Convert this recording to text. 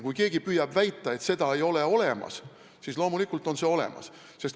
Kui keegi püüab väita, et seda ei ole olemas, siis ütlen, et loomulikult on see olemas.